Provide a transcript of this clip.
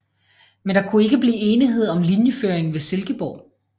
Men der kunne ikke blive enighed om linjeføringen ved Silkeborg